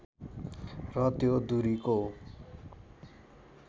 र त्यो दूरीको